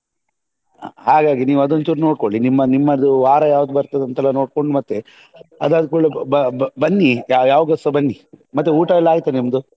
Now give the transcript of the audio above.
ಹಾಗಾಗಿ ನೀವ್ ಅದೊಂದು ಚೂರ್ ನೋಡ್ಕೊಳ್ಳಿ ನಿಮ್ಮದು ನಿಮ್ಮದು ವಾರ ಯಾವ್ದು ಬರ್ತದಂತ ಎಲ್ಲ ನೋಡ್ಕೊಂಡು ಮತ್ತೇ ಅದಾದ್ ಕೂಡ್ಲೆ ಬ~ ಬನ್ನಿ ಯಾವಗಸ ಬನ್ನಿ ಮತ್ತೇ ಊಟ ಎಲ್ಲ ಆಯ್ತಾ ನಿಮ್ದು?